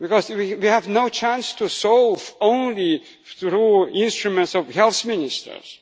We have no chance to solve only through instruments of health ministers.